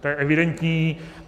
To je evidentní.